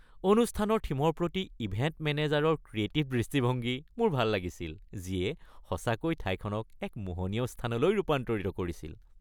অনুষ্ঠানৰ থিমৰ প্ৰতি ইভেণ্ট মেনেজাৰৰ ক্ৰিয়েটিভ দৃষ্টিভংগী মোৰ ভাল লাগিছিল, যিয়ে সঁচাকৈ ঠাইখনক এক মোহনীয় স্থানলৈ ৰূপান্তৰিত কৰিছিল।